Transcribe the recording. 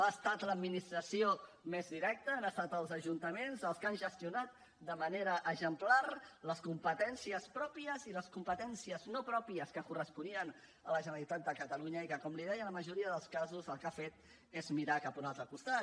ha estat l’administració més directa han estat els ajuntaments els que han gestionat de manera exemplar les competències pròpies i les competències no pròpies que corresponien a la generalitat de catalunya i que com li deia en la majoria dels casos el que ha fet és mirar cap a un altre costat